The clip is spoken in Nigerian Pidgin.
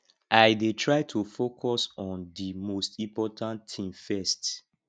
i dey try to focus on di most important thing first